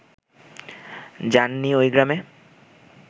যান নি ওই গ্রামে